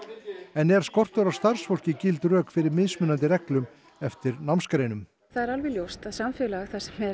en er skortur á starfsfólki gild rök fyrir mismunandi reglum eftir námsgreinum það er alveg ljóst að samfélag